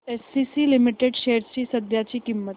ACC limited shares ची सध्याची किंमत